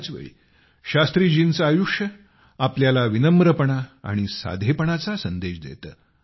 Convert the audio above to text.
त्याच वेळी शास्त्रीजींचे आयुष्य आपल्याला विनम्रपणा आणि साधेपणाचा संदेश देते